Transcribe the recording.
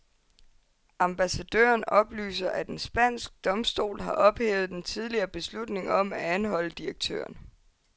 Ambassadøren oplyser, at en spansk domstol har ophævet den tidligere beslutning om at anholde direktøren.